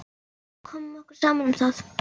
Við bara komum okkur saman um það.